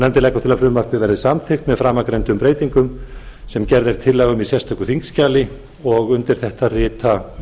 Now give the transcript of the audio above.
nefndin leggur til að frumvarpið verði samþykkt með framangreindum breytingum sem gerð er tillaga um í sérstöku þingskjali undir þetta rita